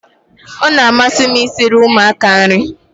Ọ na-amasị m i siri ụmụaka nri